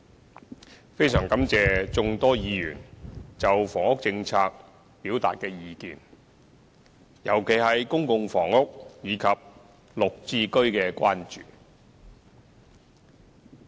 主席，非常感謝眾多議員就房屋政策表達的意見，特別是對公共房屋及綠表置居計劃的關注。